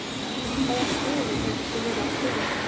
Hvaða stöðu hefur þú verið að spila?